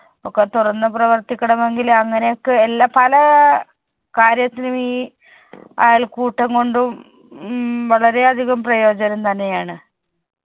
ഒക്കെ തുറന്ന് പ്രവർത്തിക്കണമെങ്കിൽ അങ്ങനെ ഒക്കെ എല്ലാ പല കാര്യത്തിനും ഈ അയൽക്കൂട്ടം കൊണ്ടും ഉം വളരെയധികം പ്രയോജനം തന്നെയാണ്.